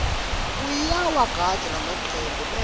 uyawagandza lamacembe bese